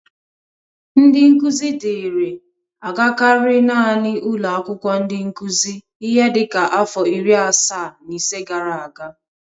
Ndị nkụzi dịri agakarị nanị ụlọ akwụkwó ndị nkụzị ihe dịka afọ iri asaa na ise gara aga.